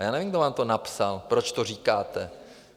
A já nevím, kdo vám to napsal, proč to říkáte.